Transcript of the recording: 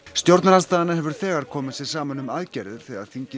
stjórnarandstaðan hefur þegar komið sér saman um aðgerðir þegar þingið